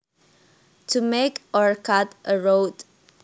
To make or cut a route